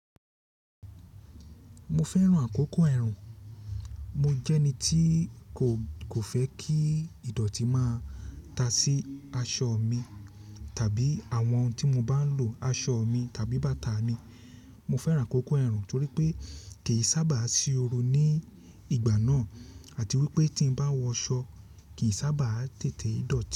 Mo fẹ́ran àkókò ẹ̀rùn, mo jẹ́ ẹni tí kò, kò fẹ́ kí ìdọ̀tí máa ta sí aṣọ mi tàbí àwọn tí mo bá ń lo, aṣọ mi tàbí bàtà mi. Mo fẹ́ran àkókò ẹ̀rùn torí pé kì í saábà sí oru ní ìgbà náà àti wípé tí ń bá wọ aṣọ kì í saábà tètè dọ̀tí.